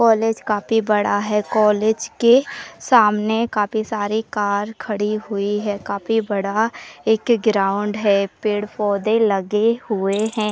College काफी बड़ा है। कॉलेज के सामने काफी सारे कार खड़ी हुई है। काफी बड़ा एक ग्राउंड है। पेड़ पौधे लगे हुए हैं।